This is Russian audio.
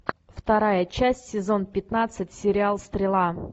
вторая часть сезон пятнадцать сериал стрела